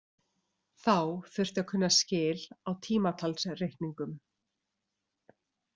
Þá þurfti að kunna skil á tímatalsreikningum.